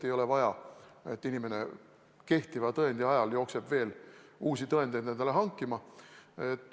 Ei ole vaja, et inimene kehtiva tõendi ajal jookseb veel uusi tõendeid endale hankima.